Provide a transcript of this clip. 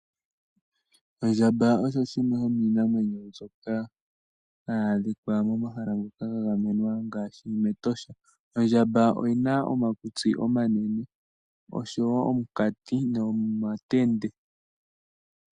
Ondjamba osho shimwe shomiinamwenyo mbyoka hayi adhika momahala ngoka gagamenwa ngaashi mEtosha. Ondjamba oyina omakutsi omanene osho wo omunkati nomatende.